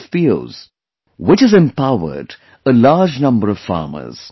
FPOs, which has empowered a large number of farmers